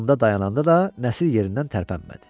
da dayananda da Nəsir yerindən tərpənmədi.